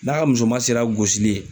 N'a ka musoma sera gosili ye